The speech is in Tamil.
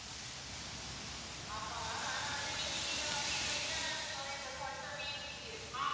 ஆமாம் ma'am ஆனா வந்து நீங்க கேட்ட மாதிரி இதுல internal storage வந்து one twenty-eight GB இருக்கு